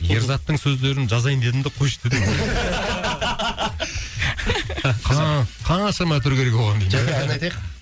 ерзаттың сөздерін жазайын дедім де қойшы дедім қаншама үтір керек оған жәке ән айтайық